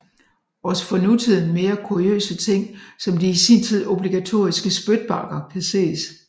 Også for nutiden mere kuriøse ting som de i sin tid obligatoriske spytbakker kan ses